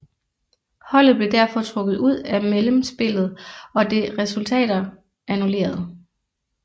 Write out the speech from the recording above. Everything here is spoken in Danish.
Holdet blev derfor trukket ud af mellemspillet og dets resultater annulleret